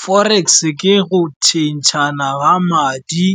Forex ke go tšhentšhana ga madi